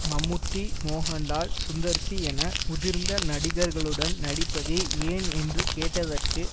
மம்முட்டி Mohanlal Sundar C என முதிர்ந்த நடிகர்களுடன் நடிப்பது ஏன் என்று கேட்டதற்கு